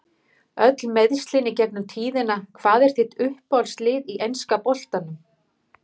Öll meiðslin í gegnum tíðina Hvað er þitt uppáhaldslið í enska boltanum?